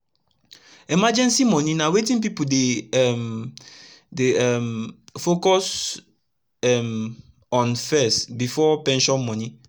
emergency moni na wetin pipu dey um dey um focus um on fess before pension moni